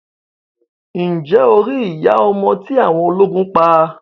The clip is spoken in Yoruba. Ǹjẹ́ o rí iya ọmọ tí awọn ọlógún pa?